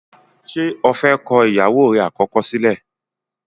ṣe ọ fè kọ ìyàwó rẹ̀ àkọ́kọ́ sílẹ̀?